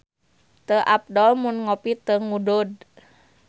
Teu apdol mun ngopi teu ngudud